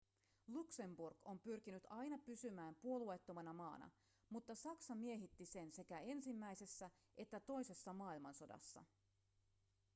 luxemburg on pyrkinyt aina pysymään puolueettomana maana mutta saksa miehitti sen sekä ensimmäisessä että toisessa maailmansodassa